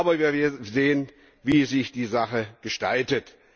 Aber wir werden sehen, wie sich die Sache gestaltet.